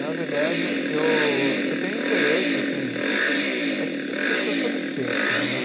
Na verdade, eu eu tenho interesse, assim é que, puts, eu sou de peixes, né?